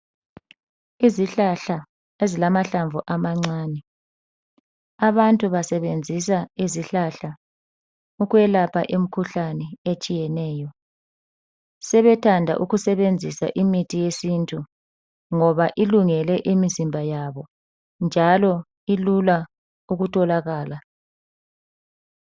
Izihlahla esilamahlamvu amancane. Abantu basebenzisa izihlahla ukwelapha imkhuhlane etshiyeneyo. Sebethanda ukusebenzisa imithi yesintu ngoba ilungele imizimba yabo njalo ilula ukutholakala.